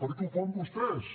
per què ho fan vostès